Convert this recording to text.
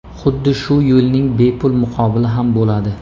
Xuddi shu yo‘lning bepul muqobili ham bo‘ladi.